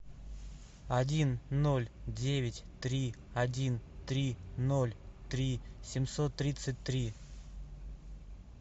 один ноль девять три один три ноль три семьсот тридцать три